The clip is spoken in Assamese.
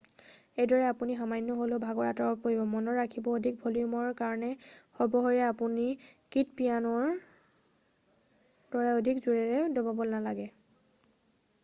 এইদৰে আপুনি সামান্য হ'লেও ভাগৰ আঁতৰাব পাৰিব মনত ৰাখিব অধিক ভলিউমৰ কাৰণে সৰ্ব শক্তিৰে আপুনি কীটো পিয়ানোৰ দৰে অধিক জোৰেৰে দবাব নালাগে